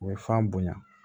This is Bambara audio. U ye fan bonya